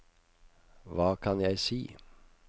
hva kan jeg si